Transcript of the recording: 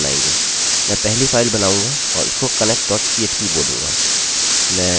मैं पहली फाइल बनाऊँगा और उसको connectphp बोलूँगा